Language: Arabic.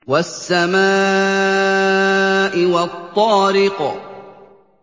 وَالسَّمَاءِ وَالطَّارِقِ